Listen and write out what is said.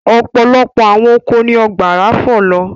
Ọ̀pọ̀lọpọ̀ àwọn oko ni ọ̀gbàrà fọ̀ lọ.